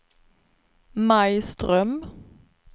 Maj Ström